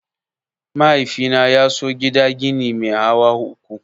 Mahaifina ya so gida gini mai hawa uku.